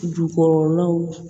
Jukɔrɔlaw